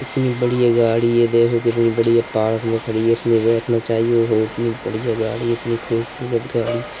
इतनी बढ़िया गाड़ी है। देखो कितनी बढ़िया पार्क में खड़ी है। इतनी बढ़िया गाड़ी है। इतनी खूबसूरत गाड़ी है।